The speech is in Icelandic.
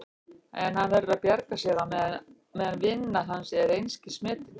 En hann verður að bjarga sér á meðan vinna hans er einskis metin.